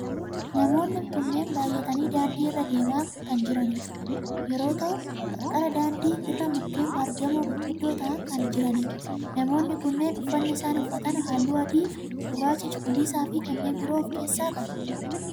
Namoonni kunneen baayyatanii daandii irra deemaa kan jiran yoo ta'u qarqara daandii irra mukkeen baargamoo gurguddoo ta'aan kan jiranidha. Namoonni kunneen uffanni isaan uffatan halluu akka adii, gurraacha, cuquliisaa fi kanneen biroo of keessaa qaba.